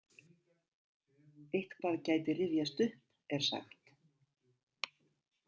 Eitthvað gæti rifjast upp, er sagt.